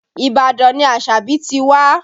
Ibadan ni Asabi ti wá